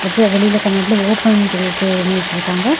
இது வெளில கண்ணாடில ஓபன்னு சொல்லிட்டு எழுதி வச்சிருக்காங்க.